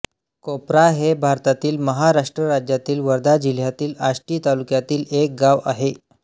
COPRA हे भारतातील महाराष्ट्र राज्यातील वर्धा जिल्ह्यातील आष्टी तालुक्यातील एक गाव आहे